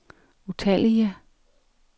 utallige